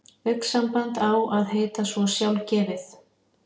Augnsamband á að heita svo sjálfgefið.